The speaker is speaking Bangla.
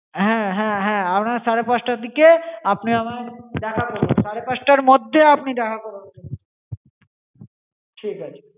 হ্যা হ্যা হ্যা আপনি সাড়ে পাঁচটার দিকে আপনি আমায় দেখা রকুন, সাড়ে পাঁচটার মধ্যে আপনি দেখা করুন, ঠিক আছে।